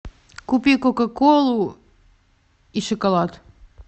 купи кока колу и шоколад